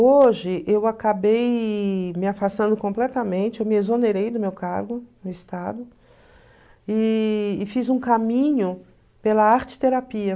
Hoje, eu acabei me afastando completamente, eu me exonerei do meu cargo no Estado e e fiz um caminho pela arteterapia.